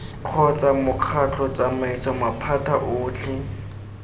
kgotsa mokgatlho tsamaiso maphata otlhe